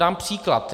Dám příklad.